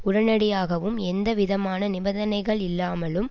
உடனடியாகவும் எந்தவிதமான நிபந்தனைகள் இல்லாமலும்